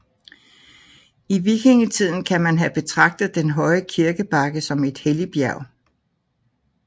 I vikingetiden kan man have betragtet den høje kirkebakke som et helligbjerg